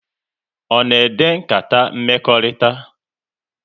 Ọ na ede nkata mmekọrịta?